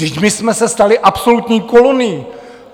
Vždyť my jsme se stali absolutní kolonií.